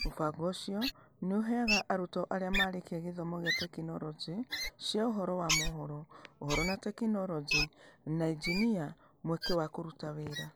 Mũbango ũcio nĩ ũheaga arutwo arĩa marĩkia gĩthomo kĩa tekinoronjĩ cia ũhoro wa mohoro (Ũhoro na Teknoroji) na injinia mweke wa kũruta wĩra.